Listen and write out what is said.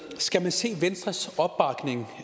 skal man se venstres opbakning